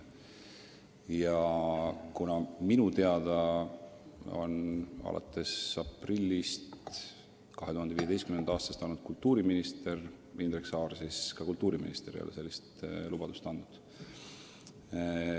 Ja kuna minu teada on alates aprillist 2015. aastal Indrek Saar olnud kultuuriminister, siis ma kinnitan, et kultuuriminister ei ole sellist lubadust andnud.